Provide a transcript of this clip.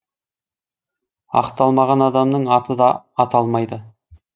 ақталмаған адамның аты да аталмайды